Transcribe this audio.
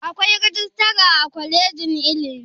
Akwai rajistara a kwalejin ilimi?